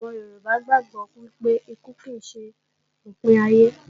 Àwọn Yorùbá gbàgbó wípé ikú kì ṣe òpin ayé